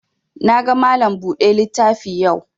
Na ga Malam buɗe littafi yau